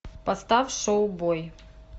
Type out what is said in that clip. поставь шоу бой